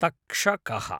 तक्षकः